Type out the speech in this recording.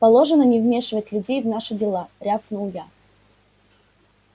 положено не вмешивать людей в наши дела рявкнул я